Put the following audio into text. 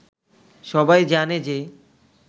সবাই জানে যে